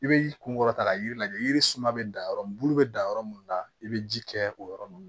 I bɛ kunkɔrɔta yiri lajɛ yiri suma bɛ dan yɔrɔ min bulu bɛ dan yɔrɔ mun na i bɛ ji kɛ o yɔrɔ ninnu